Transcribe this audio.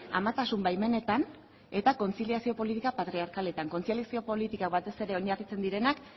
amatasun baimenetan eta kontziliazio politika patriarkaletan kontziliazio politikak batez ere oinarritzen direnak